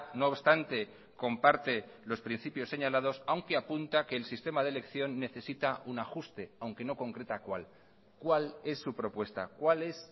no obstante comparte los principios señalados aunque apunta que el sistema de elección necesita un ajuste aunque no concreta cuál cuál es su propuesta cuál es